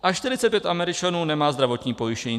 A 45 (?) Američanů nemá zdravotní pojištění.